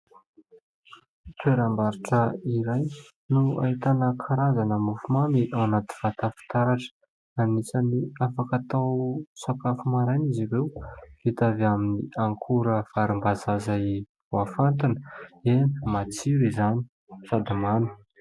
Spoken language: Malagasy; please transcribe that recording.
Toeram-barotra iray no ahitana karazana mofomamy ao anaty vata fitaratra. Anisan'ny afaka atao sakafo maraina izy ireo, vita avy amin'ny akora varimbazaha izay voafantina. Eny matsiro izany sady mamy.